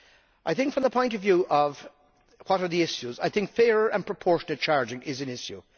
I think, from the point of view of what the issues are, that fair and proportionate charging is an issue.